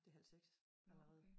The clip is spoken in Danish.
Det halv 6 allerede